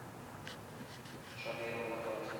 шаверма на карте